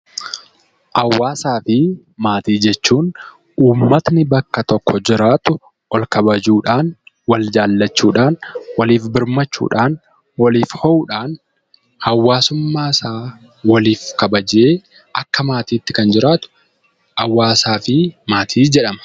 Hawaasaa fi maatii jechuun uummatni bakka tokko jiraatu wal kabajuu dhaan, wal jaallachuu dhaan, waliif birmachuu dhaan, waliif oo'uu dhaan hawaasummaa isaa waliif kabajee akka maatiitti kan jiraatu 'Hawaasaa fi Maatii' jedhama.